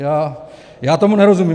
Já tomu nerozumím.